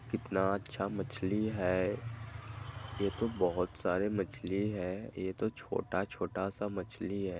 कितना अच्छा मछली है ये तो बहोत सारे मछली है ये तो छोटा-छोटा सा मछली है।